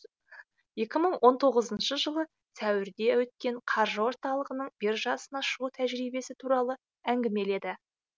екі мың он тоғызыншы жылы сәуірде өткен қаржы орталығының биржасына шығу тәжірибесі туралы әңгімеледі